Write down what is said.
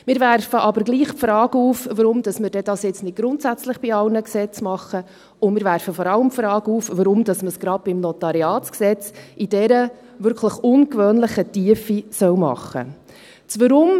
Wir werfen aber gleichwohl die Frage auf, warum man dies nun nicht grundsätzlich bei allen Gesetzen macht, und wir werfen vor allem die Frage auf, warum man es gerade beim NG in dieser wirklich ungewöhnlichen Tiefe machen soll.